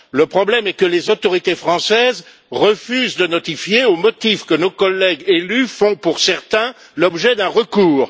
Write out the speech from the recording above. Le problème est que les autorités françaises refusent de notifier au motif que nos collègues élus font, pour certains, l'objet d'un recours.